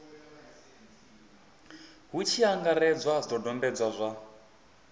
hu tshi angaredzwa zwidodombedzwa zwa